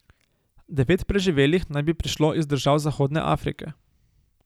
Devet preživelih naj bi prišlo iz držav zahodne Afrike.